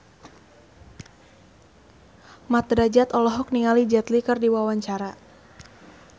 Mat Drajat olohok ningali Jet Li keur diwawancara